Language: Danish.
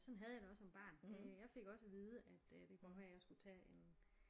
Sådan havde jeg det også som barn øh jeg fik også at vide at øh det kunne godt være jeg skulle tage en